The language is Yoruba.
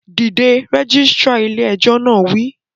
Dìde! Rẹ́gísírà ilé ẹjọ́ náà á wí